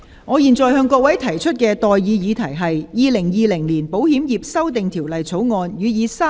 我現在向各位提出的待議議題是：《2020年保險業條例草案》予以三讀並通過。